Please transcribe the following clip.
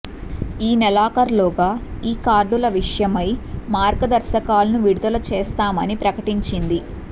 ఈ నెలాఖర్లోగా ఈ కార్డుల విషయమై మార్గదర్శకాలను విడుదల చేస్తామని ప్రకటించింది